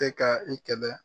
Bɛ ka i kɛlɛ.